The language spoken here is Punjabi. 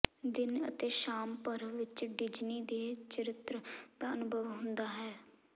ਦਿਨ ਅਤੇ ਸ਼ਾਮ ਭਰ ਵਿੱਚ ਡਿਜ਼ਨੀ ਦੇ ਚਰਿੱਤਰ ਦਾ ਅਨੁਭਵ ਹੁੰਦਾ ਹੈ